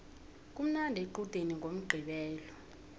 kumnandi equdeni ngomqqibelo